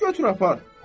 Götür apar.